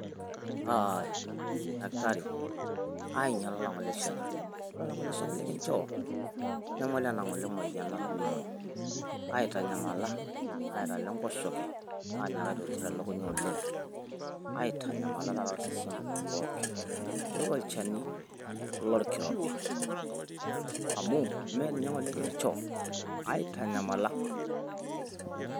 dakitari aing'iala ng'ole olang'ole shani. ore olang'ole shani likinchoo aitanyamala. naitalo enkoshoke, anyaaka aitotir elukunya oleng. aitanyamala osesen pookin. ore olchani lorkirobi. mme ninye ng'ole kinchoo, aaitanayamala.